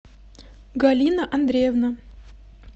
галина андреевна